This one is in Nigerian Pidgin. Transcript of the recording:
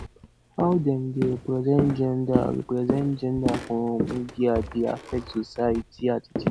how dem dey represent gender represent gender for media dey affect society attitude